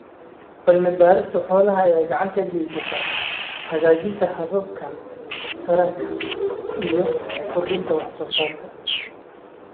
Cilmi-baarista xoolaha ayaa gacan ka geysata hagaajinta hababka taranka iyo kordhinta wax soo saarka.